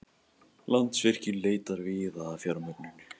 Landsvirkjun leitar víða að fjármögnun